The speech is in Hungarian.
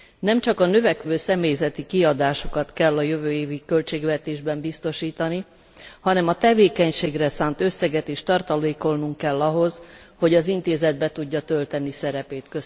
Nemcsak a növekvő személyzeti kiadásokat kell a jövő évi költségvetésben biztosítani, hanem a tevékenységre szánt összeget is tartalékolnunk kell ahhoz, hogy az Intézet be tudja tölteni szerepét.